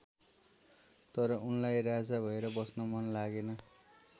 तर उनलाई राजा भएर बस्न मन लागेन।